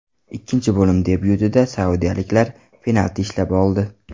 Ikkinchi bo‘lim debyutida saudiyaliklar penalti ishlab oldi.